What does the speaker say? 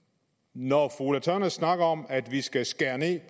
når fru ulla tørnæs snakker om at vi skal skære ned